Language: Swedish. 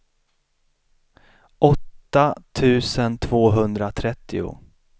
åtta tusen tvåhundratrettio